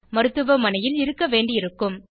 மருத்துவமனையில் இருக்க வேண்டியிருக்கும்